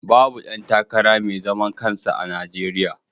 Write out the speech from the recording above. Babu ɗan takara mai zaman kansa a Najeriya.